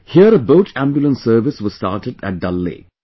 Here a Boat Ambulance Service was started at Dal Lake